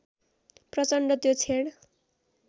प्रचण्ड त्यो क्षण